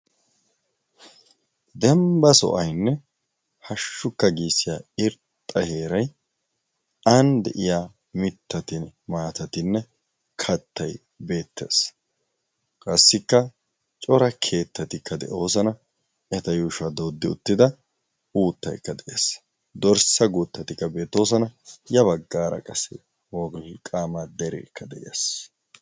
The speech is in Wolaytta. dembba so7ainne hashshukka giissiya irxxa heerai aani de7iya mittatin maatatinne kattai beettaes qaassikka cora keettatikka de7oosana eta yuushuwaa dooddi uttida uuttaikka de7aes dorssa guuttatikka beetoosana ya baggaara qase woliqqaamaa dereekka de7aes